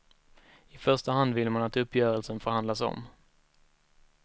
I första hand vill man att uppgörelsen förhandlas om.